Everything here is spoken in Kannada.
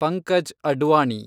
ಪಂಕಜ್ ಅಡ್ವಾಣಿ